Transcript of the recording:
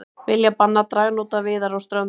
Vilja banna dragnótaveiðar á Ströndum